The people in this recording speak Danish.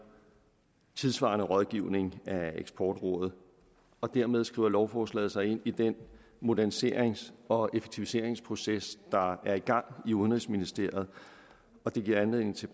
tidssvarende rådgivning af eksportrådet og dermed skriver lovforslaget sig ind i den moderniserings og effektiviseringsproces der er i gang i udenrigsministeriet og det giver anledning til